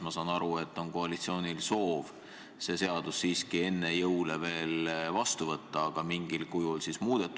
Ma saan aru, et koalitsioonil on soov see seadus siiski veel enne jõule vastu võtta, aga mingil kujul muudetuna.